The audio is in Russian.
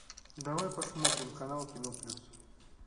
давай посмотрим канал кино плюс